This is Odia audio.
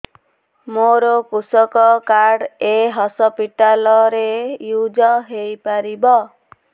ମୋର କୃଷକ କାର୍ଡ ଏ ହସପିଟାଲ ରେ ୟୁଜ଼ ହୋଇପାରିବ